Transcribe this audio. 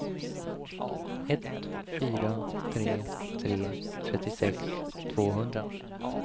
ett fyra tre tre trettiosex tvåhundra